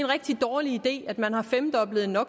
rigtig dårlig idé at man har femdoblet no